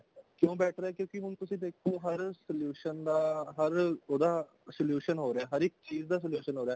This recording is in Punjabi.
ਕਿਉਂ better ਹੈ ਕਿਉਂਕਿ ਹੁਣ ਤੁਸੀਂ ਦੇਖੋ ਹਰ solution ਦਾ ਹਰ ਉਹਦਾ solution ਹੋ ਰਿਹਾ ਹਰ ਇੱਕ ਚੀਜ਼ ਦਾ solution ਹੋ ਰਿਹਾ